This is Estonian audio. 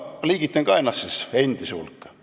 Liigitan ennast ka endiste hulka.